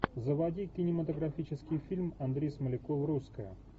заводи кинематографический фильм андрей смоляков русская